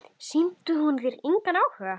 Sýndi hún þér engan áhuga?